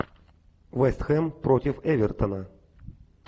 вест хэм против эвертона